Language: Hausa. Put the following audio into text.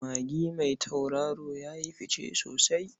Magi mai tauraro ya yi fice sosai.